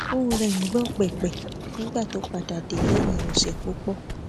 ohùn rẹ ń gbòn pèpè nígbà tó padà dé léyìn òsè púpò